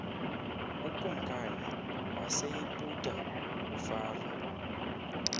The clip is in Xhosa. ukumkani waseyiputa ufaro